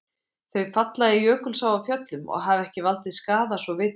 Þau falla í Jökulsá á Fjöllum og hafa ekki valdið skaða svo vitað sé.